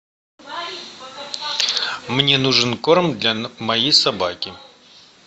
мне нужен корм для моей собаки